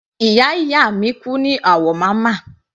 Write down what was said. Ìyá ìyá mi kú ní Awomama.